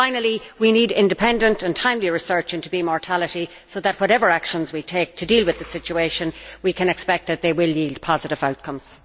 Finally, we need independent and timely research into bee mortality so that, whatever actions we take to deal with the situation, we can expect that they will yield positive outcomes.